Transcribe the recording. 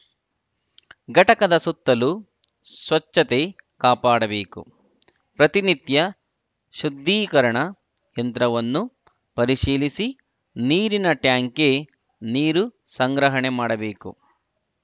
ಘಟಕದ ಸುತ್ತಲು ಸ್ವಚ್ಛತೆ ಕಾಪಾಡಬೇಕು ಪ್ರತಿನಿತ್ಯ ಶುದ್ಧೀಕರಣ ಯಂತ್ರವನ್ನು ಪರಿಶೀಲಿಸಿ ನೀರಿನ ಟ್ಯಾಂಕ್‌ಗೆ ನೀರು ಸಂಗ್ರಹಣೆ ಮಾಡಬೇಕು